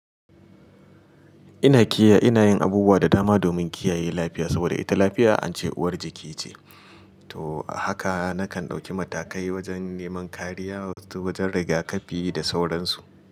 Ina kiyaye, ina yin abubuwa da dama domin kiyaye lafiya saboda ita lafiya an ce uwar jiki ce. To haka nakan ɗauki matakai wajen neman kariya wajen riga kafi da sauransu.